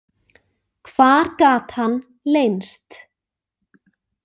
Hvar gat hann leynst?